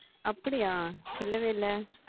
அப்படியா சொல்லவே இல்லை